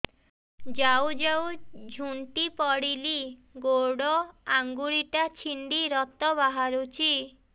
ଯାଉ ଯାଉ ଝୁଣ୍ଟି ପଡ଼ିଲି ଗୋଡ଼ ଆଂଗୁଳିଟା ଛିଣ୍ଡି ରକ୍ତ ବାହାରୁଚି